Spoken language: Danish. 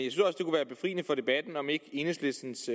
jeg debatten om ikke enhedslistens